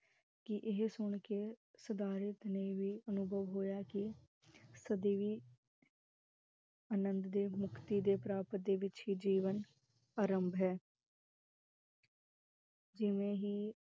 ਕਿ ਇਹ ਸੁਨ ਕੇ ਸਿਧਾਰਥ ਨੇ ਵੀ ਅਨੁਭਵ ਹੋਇਆ ਕਿ, ਸਦੀਵੀ ਆਨੰਦ ਦੇ, ਮੁਕਤੀ ਦੇ ਪ੍ਰਾਪਤ ਦੇ ਵਿਚ ਹੀ ਜੀਵਨ ਆਰੰਭ, ਹੈ, ਕਿਵੇਂ ਹੀ